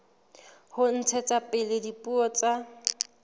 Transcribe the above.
ho ntshetsa pele dipuo tsa